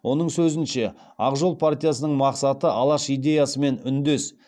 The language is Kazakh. оның сөзінше ақ жол партиясының мақсаты алаш идеясымен үндес